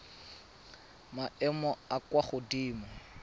maemong a a kwa godimo